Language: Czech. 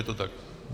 Je to tak?